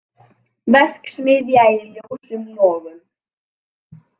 Verksmiðja í ljósum logum